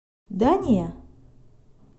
да не